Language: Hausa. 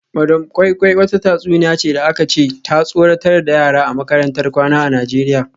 Madam koi koi wata tatsuniya ce da aka ce ta tsoratar da yara a makarantar kwana a Najeriya